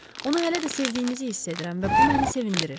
Onu hələ də sevdiyinizi hiss edirəm və bu məni sevindirir.